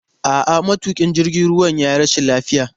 A'a, matuƙin jirgin ruwa ya yi rashin lafiya.